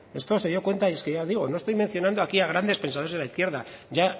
esto se dio cuenta y es que ya digo no estoy mencionando aquí a grandes pensadores de la izquierda ya